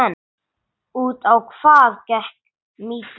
Út á hvað gekk mýtan?